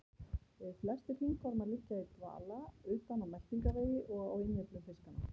Flestir hringormar liggja í dvala utan á meltingarvegi og á innyflum fiskanna.